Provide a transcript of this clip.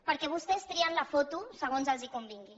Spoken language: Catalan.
perquè vostès trien la foto segons els convingui